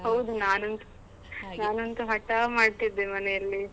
ಹೌದು ನಾನಂತೂ ನಾನಂತು ಹಠ ಮಾಡ್ತಿದ್ದೆ ಮನೆಯಲ್ಲಿ.